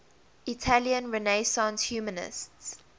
italian renaissance humanists